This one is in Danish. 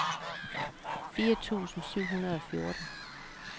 fire tusind syv hundrede og fjorten